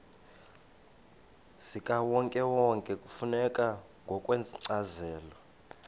zikawonkewonke kufuneka ngokwencazelo